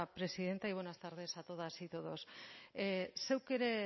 presidenta y buenas tardes a todas y todos zeuk ere